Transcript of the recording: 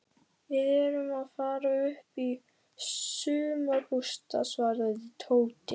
Við erum að fara upp í sumarbústað svaraði Tóti.